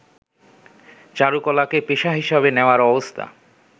চারুকলাকে পেশা হিসাবে নেয়ার অব্স্থা